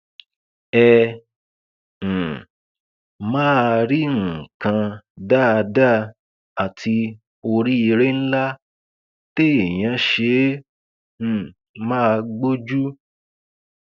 ẹ um máa rí nǹkan dáadáa àti oríire ńlá téèyàn ṣe é um máa gbójú